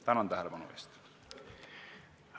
Tänan tähelepanu eest!